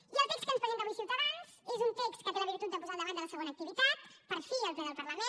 i el text que ens presenta avui ciutadans és un text que té la virtut de posar el debat de la segona activitat per fi al ple del parlament